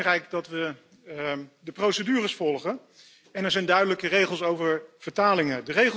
Het is belangrijk dat we de procedures volgen en er zijn duidelijke regels over vertalingen.